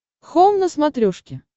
хоум на смотрешке